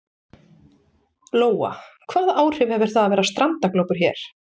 Lóa: Hvaða áhrif hefur það að vera strandaglópur hér?